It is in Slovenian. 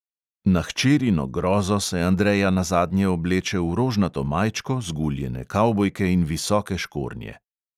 Na hčerino grozo se andreja nazadnje obleče v rožnato majčko, zguljene kavbojke in visoke škornje.